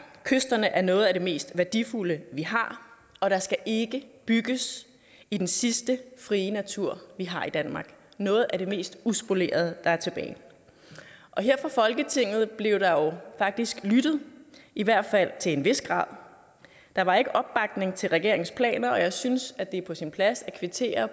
kysterne er noget af det mest værdifulde vi har og der skal ikke bygges i den sidste frie natur vi har i danmark det noget af mest uspolerede der er tilbage her fra folketinget blev der faktisk lyttet i hvert fald til en vis grad der var ikke opbakning til regeringens planer og jeg synes at det er på sin plads at kvittere